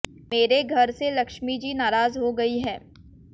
मेरे घर से लक्ष्मी जी नाराज हो गई है